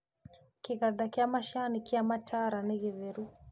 Kĩganda kĩa macani kĩa Mataara nĩgĩtheru